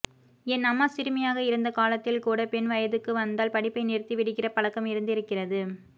என் அம்மா சிறுமியாக இருந்த காலத்தில்கூட பெண் வயதுக்கு வந்தால் படிப்பை நிறுத்தி விடுகிற பழக்கம் இருந்திருக்கிறது